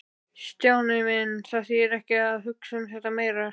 Stjáni minn, það þýðir ekki að hugsa um þetta meira.